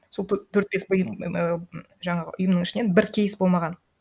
сол төрт бес жаңағы ұйымның ішінен бір кейс болмаған